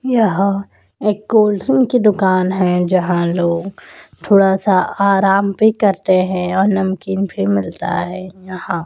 यह एक cold drink का दुकान है जहां लोग थोड़ा आराम करते हैं यहां नमकीन भी मिलता है यहां।